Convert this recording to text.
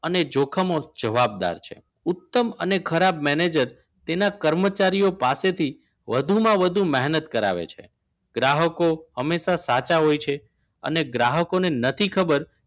અને જોખમો જવાબદાર છે ઉત્તમ અને ખરાબ મેનેજર તેના કર્મચારીઓ પાસેથી વધુમાં વધુ મહેનત કરાવે છે ગ્રાહકો હંમેશા સાચા હોય છે અને ગ્રાહકોને નથી ખબર